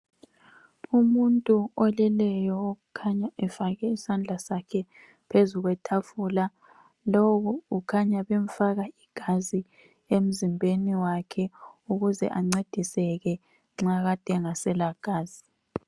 Umuntu oleleyo okhanya efake isandla sakhe phezu kwetafula, lo ukhanya bemfaka igazi emzimbeni wakhe ukuze ancediseke nxa kade engasela gazi.